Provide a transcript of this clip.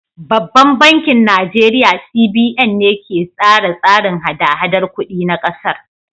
Babban bankin Najeriya CBN ne ke tsara tsarin hada-hadar kuɗi na ƙasar.